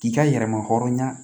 K'i ka yɛrɛma hɔrɔnya